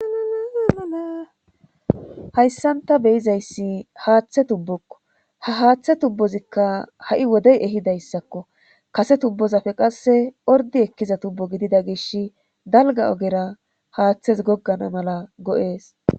hayssanta beyizayssi haaththe tubbokko ha haaththe tubbozikka ha7i wodey ehidayssakko kase tubbozapfe qasse ordi ekkiza tubbo gidida gish dalga ogera haaththes goggana mala go7ees